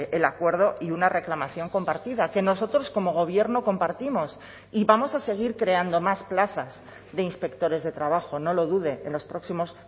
el acuerdo y una reclamación compartida que nosotros como gobierno compartimos y vamos a seguir creando más plazas de inspectores de trabajo no lo dude en los próximos